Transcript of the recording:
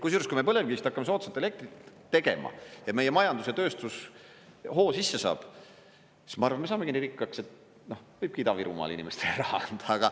Kusjuures kui me põlevkivist hakkame soodsat elektrit tegema ja meie majandus ja tööstus hoo sisse saab, siis ma arvan, me saamegi nii rikkaks, et võibki Ida-Virumaal inimestele raha anda.